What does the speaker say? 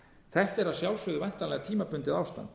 þetta er að sjálfsögðu væntanlega tímabundið ástand